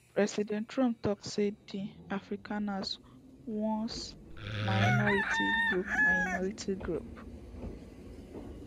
president trump tok say di afrikaners one minority group minority group